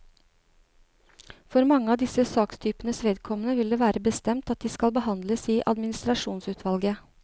For mange av disse sakstypenes vedkommende vil det være bestemt at de skal behandles i administrasjonsutvalget.